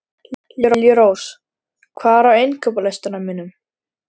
Liljurós, hvað er á innkaupalistanum mínum?